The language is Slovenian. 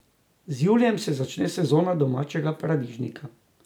Z julijem se začne sezona domačega paradižnika.